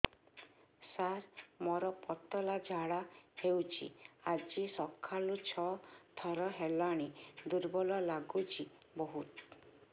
ସାର ମୋର ପତଳା ଝାଡା ହେଉଛି ଆଜି ସକାଳୁ ଛଅ ଥର ହେଲାଣି ଦୁର୍ବଳ ଲାଗୁଚି ବହୁତ